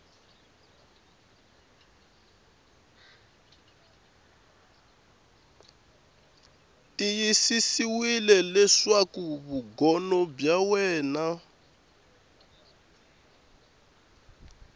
tiyisisiwile leswaku vugono bya wena